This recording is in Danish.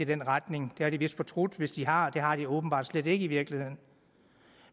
den retning det har de vist fortrudt hvis de har det har de åbenbart slet ikke i virkeligheden